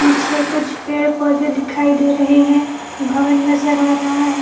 पीछे कुछ पेड़-पोधे दिखाई दे रहे हैं भवन नजर आ रहा है।